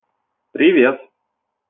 привет